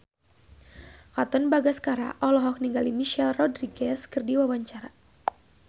Katon Bagaskara olohok ningali Michelle Rodriguez keur diwawancara